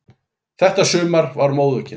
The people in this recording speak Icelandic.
Þetta sumar var móðukennt.